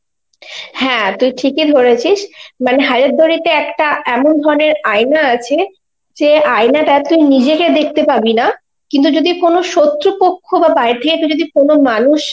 হ্যাঁ তুই ঠিকই ধরেছিস, মানে হাজারদুয়ারিতে একটা এমন ধরনের আয়না আছে যে আয়নাটায় তুই নিজেকে দেখতে পাবিনা, কিন্তু যদি কোন শত্রুপক্ষ তুই যদি কোন মানুষ